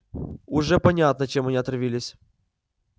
уже понятно чем они отравились